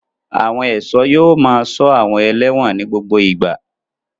Àwọn ẹ̀ṣọ́ yóò máa ṣọ́ àwọn ẹlẹ́wọ̀n ní gbogbo ìgbà.